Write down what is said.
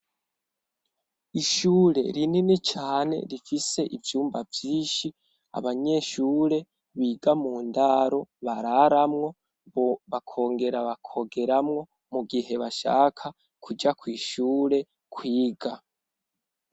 Ishure rinini cane rifise ivyumba vyishi abanyeshure biga mu ndaro bararamwo, bakongera bakogeramwo mu gihe bashaka kuja kw' ishure kwiga.